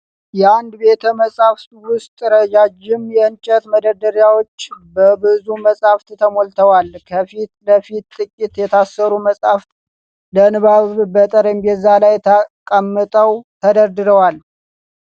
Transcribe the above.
የአንድ ቤተ መጻሕፍት ውስጥ ረዣዥም የእንጨት መደርደሪያዎች በብዙ መጻሕፍት ተሞልተዋል። ከፊት ለፊት፣ ጥቂት የታሰሩ መጻሕፍት ለንባብ በጠረጴዛ ላይ ተቃመጠው ተደርድረዋል።